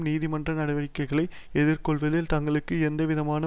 நீதிமன்ற நடவடிக்கைகளை எதிர் கொள்வதில் தங்களுக்கு எந்தவிதமான